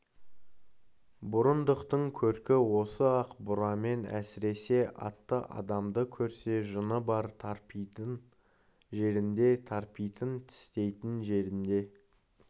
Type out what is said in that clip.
бұрындықтың көркі осы ақ бурамен әсіресе атты адамды көрсе жыны бар тарпитын жерінде тарпитын тістейтін жерінде